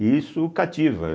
E isso cativa.